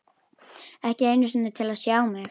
Ekki einu sinni til að sjá mig.